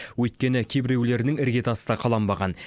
өйткені кейбіреулерінің іргетасы да қаланбаған